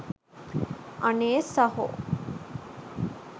අනේ සහෝ